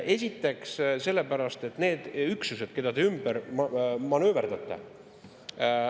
Esiteks, need üksused, keda te ümber manööverdate …